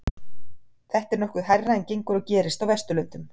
Þetta er nokkuð hærra en gengur og gerist á Vesturlöndum.